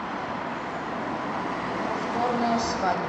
повторная свадьба